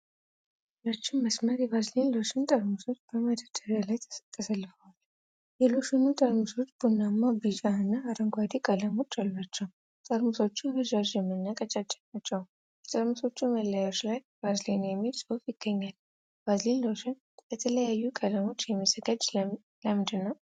ረዥም መስመር የቫዝሊን ሎሽን ጠርሙሶች በመደርደሪያ ላይ ተሰልፈዋል። የሎሽኑ ጠርሙሶች ቡናማ፣ ቢጫ እና አረንጓዴ ቀለሞች አሏቸው። ጠርሙሶቹ ረዣዥም እና ቀጫጭን ናቸው። በጠርሙሶቹ መለያዎች ላይ "ቫዝሊን" የሚል ጽሑፍ ይገኛል። ቫዝሊን ሎሽን በተለያዩ ቀለሞች የሚዘጋጀው ለምንድን ነው?